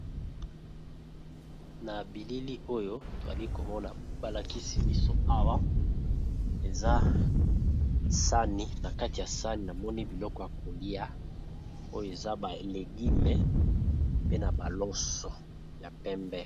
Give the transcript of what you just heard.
Na bilili oyo toali komona balakisi biso awa eza sani na kati ya sani amoni biloko ya kolia oyo eza balegime pe na baloso ya pembe.